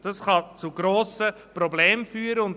Das kann zu grossen Problemen führen.